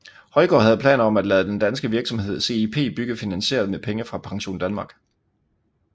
Højgaard havde planer om at lade den danske virksomhed CIP bygge finansieret med penge fra PensionDanmark